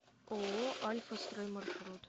ооо альфа строй маршрут